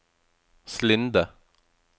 Slinde